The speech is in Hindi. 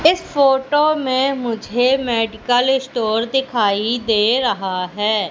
इस फोटो में मुझे मेडिकल स्टोर दिखाई दे रहा है।